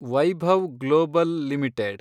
Vaibhav Global limited